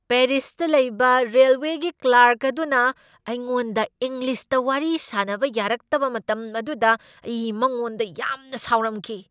ꯄꯦꯔꯤꯁꯇ ꯂꯩꯕ ꯔꯦꯜꯋꯦꯒꯤ ꯀ꯭ꯂꯥꯔꯛ ꯑꯗꯨꯅ ꯑꯩꯉꯣꯟꯗ ꯏꯪꯂꯤꯁꯇ ꯋꯥꯔꯤ ꯁꯥꯅꯕ ꯌꯥꯔꯛꯇꯕ ꯃꯇꯝ ꯑꯗꯨꯗ ꯑꯩ ꯃꯉꯣꯟꯗ ꯌꯥꯝꯅ ꯁꯥꯎꯔꯝꯈꯤ꯫